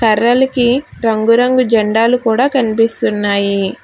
కర్రలకి రంగురంగు జెండాలు కూడా కనిపిస్తున్నాయి.